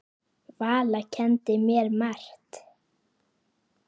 Valla kenndi mér margt.